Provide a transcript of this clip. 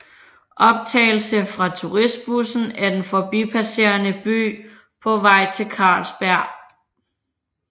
Optagelse fra turistbussen af den forbipasserende by på vej til Carlsberg